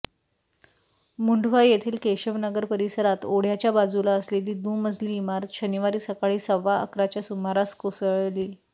मुंढवा येथील केशवनगर परिसरात ओढ्याच्या बाजूला असलेली दुमजली इमारत शनिवारी सकाळी सव्वा अकराच्या सुमारास कोसळली